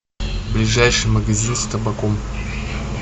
ближайший магазин с табаком